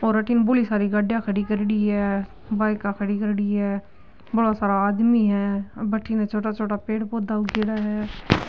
और अठन बोली सारी गाड़िया खड़ी करेडी है बाइका खड़ी करेडी है बोला सारा आदमी है बठन छोटा छोटा पेड़ पौधा उगेडा है।